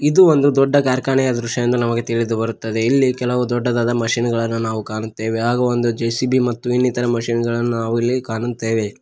ಇದು ಒಂದು ದೊಡ್ಡ ಕಾರ್ಖಾನೆಯ ದೃಶ್ಯ ಎಂದು ನಮಗೆ ತಿಳಿದು ಬರುತ್ತದೆ ಇಲ್ಲಿ ಕೆಲವು ದೊಡ್ಡದಾದ ಮಷೀನ್ ಗಳನ್ನು ನಾವು ಕಾಣುತ್ತೇವೆ ಹಾಗು ಒಂದು ಜೆ_ಸಿ_ಬಿ ಮತ್ತು ಇನ್ನಿತರ ಮಷೀನ್ ಗಳನ್ನು ನಾವು ಇಲ್ಲಿ ಕಾಣುತ್ತೇವೆ.